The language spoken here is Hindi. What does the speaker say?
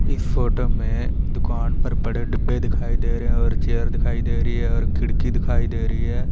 इस फोटो में दुकान पर बड़े डिब्बे दिखाई दे रहे हैं और चेयर दिखाई दे रही है और खिड़की दिखाई दे रही है।